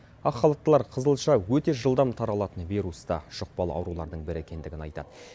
ақ халаттылар қызылша өте жылдам таралатын вирусты жұқпалы аурулардың бірі екендігін айтады